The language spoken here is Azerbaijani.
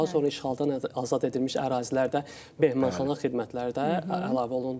Daha sonra işğaldan azad edilmiş ərazilərdə mehmanxana xidmətləri də əlavə olundu.